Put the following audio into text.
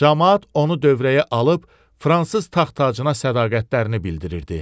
Camaat onu dövrəyə alıb Fransız taxtacına sədaqətlərini bildirirdi.